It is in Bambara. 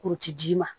Kuruti ji ma